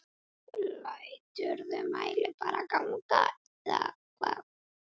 Læturðu mælinn bara ganga eða?